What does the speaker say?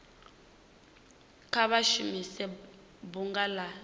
kha vha shumise bunga la